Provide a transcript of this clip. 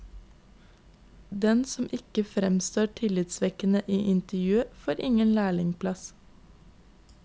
Den som ikke fremstår tillitvekkende i intervjuet, får ingen lærlingeplass.